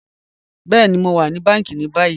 Bẹẹ̀ni, Mo wa ni bàńkí ni bàyì.